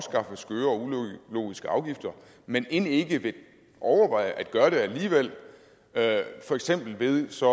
ulogiske afgifter men end ikke vil overveje at gøre det alligevel for eksempel ved så